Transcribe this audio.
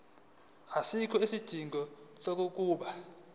asikho isidingo sokuba